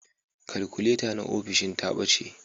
Kalkuleta na ofishin ta ɓace